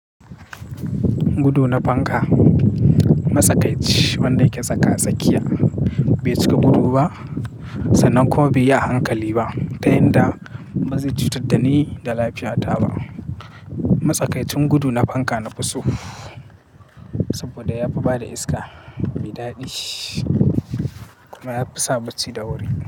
Gudu na fanka. Matsakaici wanda yake saka tsakiya bai cika gudu ba sannan kuma bai yi ahankali ba, ta yanda ba zai cutar dani da lafiya ta ba. Matsakaicin gudu na fanka na fi so saboda ya fi bada iska mai daɗi kuma ya fi sa bacci da wuri.